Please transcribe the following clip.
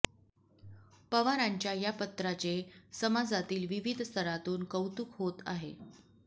पवारांच्या या पत्राचे समाजातील विविध स्तरातून कौतुक होते आहे